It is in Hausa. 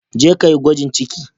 Jeka yi gwajin ciki.